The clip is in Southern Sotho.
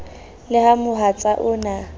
e le mohatsa o na